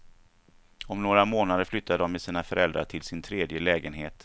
Om några månader flyttar de med sina föräldrar till sin tredje lägenhet.